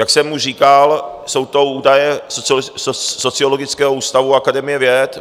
Jak jsem už říkal, jsou to údaje Sociologického ústavu Akademie věd.